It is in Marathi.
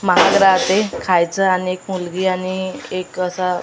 महाग राहते खायचं आणि एक मुलगी आणि एक असा --